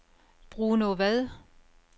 Bruno Vad